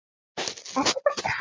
Er þetta Karl?